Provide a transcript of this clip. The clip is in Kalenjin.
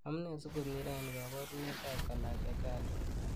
Amunee sikomi rani kabarunet ab Kalasha gala.